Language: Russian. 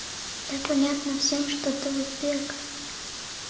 да понятно всем что ты узбек